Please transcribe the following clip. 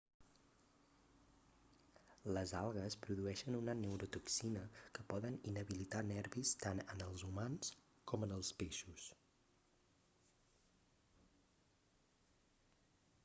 les algues produeixen una neurotoxina que poden inhabilitar nervis tant en els humans com en els peixos